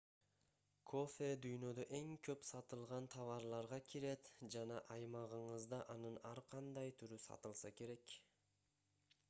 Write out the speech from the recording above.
кофе дүйнөдө эң көп сатылган товарларга кирет жана аймагыңызда анын ар кандай түрү сатылса керек